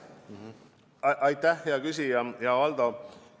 Aitäh, hea küsija, hea Valdo!